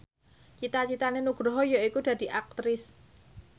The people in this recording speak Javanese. cita citane Nugroho yaiku dadi Aktris